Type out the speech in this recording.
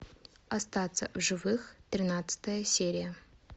остаться в живых тринадцатая серия